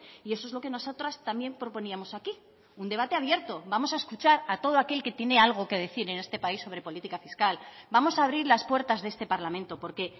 y eso es lo que nosotras también proponíamos aquí un debate abierto vamos a escuchar a todo aquel que tiene algo que decir en este país sobre política fiscal vamos a abrir las puertas de este parlamento porque